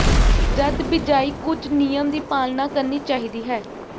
ਜਦ ਬਿਜਾਈ ਕੁਝ ਨਿਯਮ ਦੀ ਪਾਲਣਾ ਕਰਨੀ ਚਾਹੀਦੀ ਹੈ